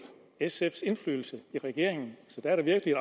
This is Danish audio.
sfs indflydelse i regeringen der er da virkelig